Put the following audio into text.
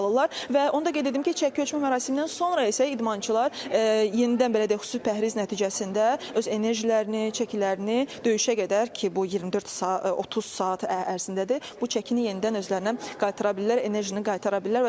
Və onu da qeyd edim ki, çəki ölçmə mərasimindən sonra isə idmançılar yenidən belə deyək xüsusi pəhriz nəticəsində öz enerjilərini, çəkilərini döyüşə qədər ki, bu 24 saat, 30 saat ərzindədir, bu çəkini yenidən özlərinə qaytara bilirlər, enerjini qaytara bilirlər.